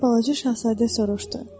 deyə Balaca Şahzadə soruşdu.